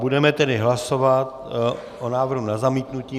Budeme tedy hlasovat o návrhu na zamítnutí.